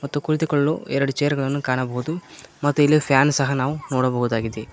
ಮತ್ತು ಕುಳಿತುಕೊಳ್ಳಲು ಎರಡು ಚೇರ್ ಗಳನ್ನು ಕಾಣಬಹುದು ಮತ್ತು ಇಲ್ಲಿ ಫ್ಯಾನ್ ಸಹ ನಾವು ನೋಡಬಹುದಾಗಿದೆ.